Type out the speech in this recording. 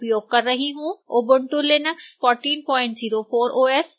ubuntu linux 1404 os